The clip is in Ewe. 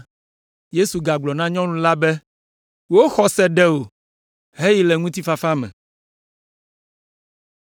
Yesu gagblɔ na nyɔnu la be, “Wò xɔse ɖe wò, heyi le ŋutifafa me.”